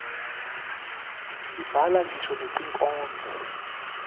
sibhala ngisho netinkhondlo